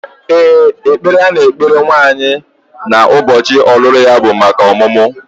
Ee, ekpere a na-ekpere nwaanyị n'ụbọchị ọlụlụ ya bụ maka ọmụmụ